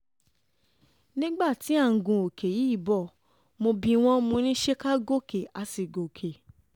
nígbà tí à ń gun òkè yìí bò mọ́ bí wọ́n mọ́ ní ṣe ká gòkè a sì gòkè